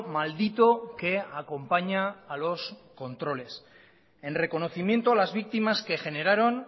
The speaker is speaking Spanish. maldito que acompaña a los controles en reconocimiento a las víctimas que generaron